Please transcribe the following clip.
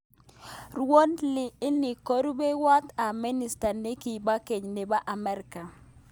Crowley ini ko rupewoit ap minister nekipa ngen nepo amerika